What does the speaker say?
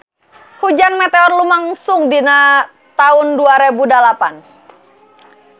Hujan meteor lumangsung dina taun dua rebu dalapan